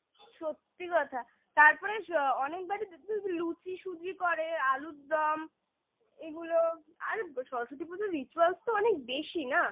সত্যি কথা তারপরে অনেকবারই লুচি সুজি করে, আলুর দম এগুলো আর সরস্বতী পুজোর rituals তো অনেক বেশি না